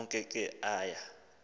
onke ke aya